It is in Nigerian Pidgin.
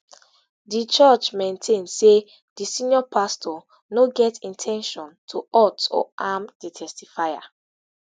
di church maintain say di senior pastor no get in ten tion to hurt or harm di testifier